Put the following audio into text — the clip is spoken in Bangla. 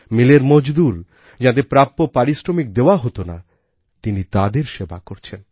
মিলের মজদুর যাঁদের প্রাপ্য পারশ্রমিক দেওয়া হত না তিনি তাদের সেবা করেছেন